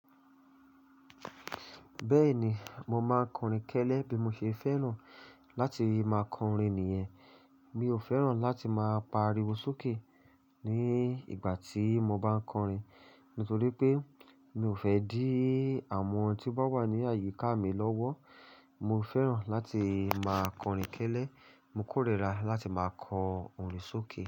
Bẹ́ẹ̀ni, mo máa ń kọrin kẹ́lẹ́ bí mo ṣe fẹ́ràn láti máa kọrin nìyẹn. Mi ò fẹ́ràn láti máa pariwo sókè ní ìgbà tí mo bá ń kọrin. Nítorí pé mi ò fẹ́ dí àwọn tí wọ́n wà ní àyíká mi lọ́wọ́. Mo fẹ́ràn láti máa kọrin kẹ́lẹ́, mo kórira láti máa kọ orin sókè.